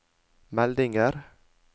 meldinger